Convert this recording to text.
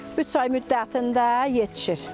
Üç ay müddətində yetişir.